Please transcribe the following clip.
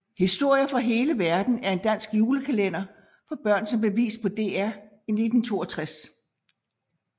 Historier fra hele verden er en dansk julekalender for børn som blev vist på DR1 i 1962